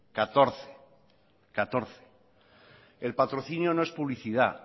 catorce el patrocinio no es publicidad